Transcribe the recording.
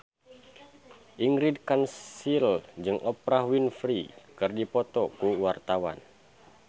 Ingrid Kansil jeung Oprah Winfrey keur dipoto ku wartawan